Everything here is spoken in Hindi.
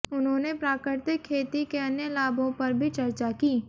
उन्होंने प्राकृतिक खेती के अन्य लाभों पर भी चर्चा की